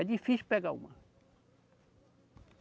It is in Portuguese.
É difícil pegar uma.